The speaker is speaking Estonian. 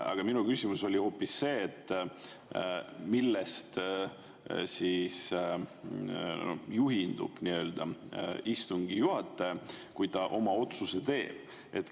Aga minu küsimus oli hoopis, millest juhindub istungi juhataja, kui ta oma otsuse teeb.